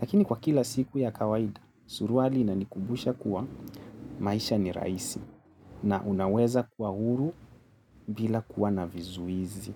Lakini kwa kila siku ya kawaida, suruali inanikumbusha kuwa maisha ni rahisi na unaweza kuwa huru bila kuwa na vizuizi.